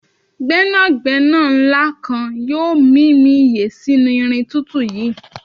gbénàgbénà nla kan yoo mimi iye sinu irin tutu yii